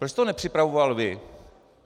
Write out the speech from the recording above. Proč jste ho nepřipravoval vy?